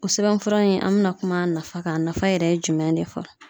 O sɛbɛnfura in an mɛna kuma a nafa kan a nafa yɛrɛ ye jumɛn de ye fɔlɔ?